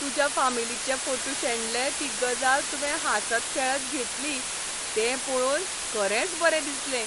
तुज्या फामिलीचे फोटू शेणले ती गजाल तुवें हांसत खेळत घेतली तें पळोवन खरेंच बरें दिसलें.